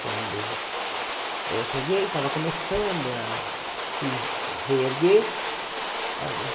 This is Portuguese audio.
Quando eu cheguei, estava começando a se reerguer.